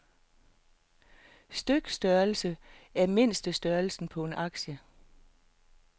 Stykstørrelse er mindstestørrelsen på en aktie.